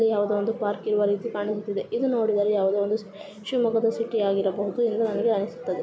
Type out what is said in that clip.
ಇದು ಯಾವುದೊ ಒಂದು ಪಾರ್ಕ್ ಇರುವ ರೀತಿ ಕಾಣಿಸುತ್ತಿದೆ. ಇದು ನೋಡಿದರೆ ಯಾವುದೊ ಒಂದು ಶಿಮೊಗ್ಗದ ಸಿಟಿ ಯಾಗಿರಬಹುದು ಎಂದು ನನಗೆ ಅನಿಸುತ್ತದೆ.